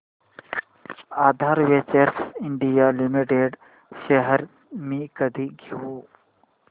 आधार ventures India limited shares मी कधी घेऊ